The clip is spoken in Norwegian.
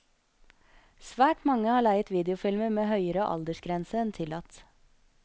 Svært mange har leiet videofilmer med høyere aldersgrense enn tillatt.